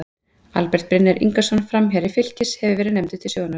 Albert Brynjar Ingason, framherji Fylkis, hefur verið nefndur til sögunnar.